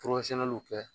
kɛ